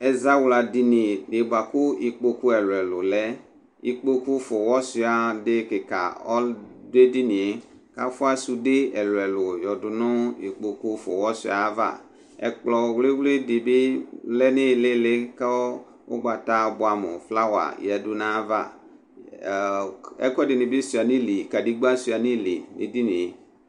ɛzawla dini bʋa ku ikpoku ɛlu ɛlu lɛ, ikpoku fʋa uwɔ sʋia di du edinie, kafʋa sude ɛlu ɛlu yadu nu ikpoku fʋa uwɔ wɔ sʋia yava, ɛkplɔ wli wli di bi lɛ nili, ku ugbata bʋam flawa yadu nayava, ɔɔ ɛku ɛdi bi sʋia nili, kadegba sʋia nili nu edinie